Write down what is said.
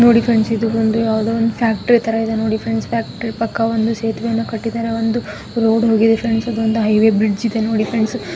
ನೋಡಿ ಫ್ರೆಂಡ್ಸ್ ಇದು ಬಂದು ಯಾವದೋ ಒಂದು ಫ್ಯಾಕ್ಟರಿ ಥರ ಇದೆ ಫ್ರೆಂಡ್ಸ್ ಪಕ್ಕ ಒಂದು ಸೇತುವೆ ಒಂದು ಕಟ್ಟಿದಾರೆ ಒಂದು ರೋಡ್ ಹೋಗಿದೇ ಫ್ರೆಂಡ್ಸ್ ಇದು ಒಂದು ಹೈ ವೇ ಬ್ರಿಜ್ ಇದೆ ನೋಡಿ ಫ್ರೆಂಡ್ಸ್ .